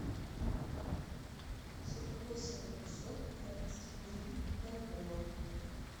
сорок восемь двухсот украинских гривен в бальбоа